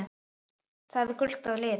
Það er gult að lit.